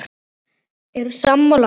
Eru sammála því?